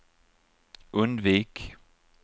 undvik